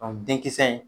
denkisɛ in